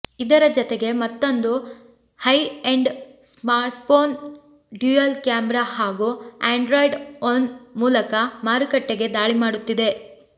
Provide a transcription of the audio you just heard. ಇದರ ಜತೆಗೆ ಮತ್ತೊಂದು high end smartphone dual camera ಹಾಗೂ ಆಂಡ್ರಾಯ್ಡ್ ಒನ್ ಮೂಲಕ ಮಾರುಕಟ್ಟೆಗೆ ದಾಳಿಮಾಡುತ್ತಿದೆ